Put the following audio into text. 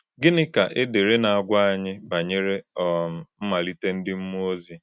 Gịnị ka ederede na-agwa anyị banyere um mmalite ndị mmụọ ozi?